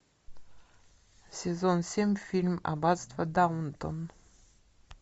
сезон семь фильм аббатство даунтон